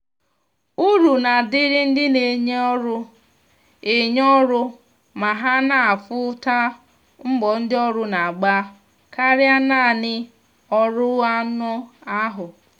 uru na adịrị ndị na enye ọrụ enye ọrụ ma ha na afụ ta mbọ ndi ọrụ na agba karịa naanị ọrụ anụ ahụ